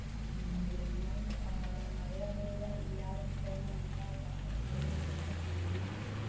അപ്പൊ ഇനിയും മഴ അങ്ങനെ ഇവിടെ ഇല്ലാതായി കഴിഞ്ഞാൽ എന്താകും അവസ്ഥയെന്ന് എനിക്കും പേടിയുണ്ട്.